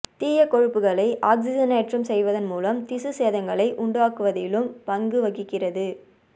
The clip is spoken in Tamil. தீய கொழுப்புகளை ஆக்சிஜனேற்றம் செய்வதன் மூலம் திசுச் சேதங்களை உண்டாக்குவதிலும் பங்குவகிக்கிறது